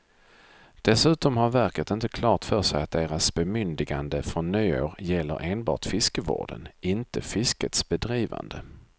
Dessutom har verket inte klart för sig att dess bemyndigande från nyår gäller enbart fiskevården, inte fiskets bedrivande.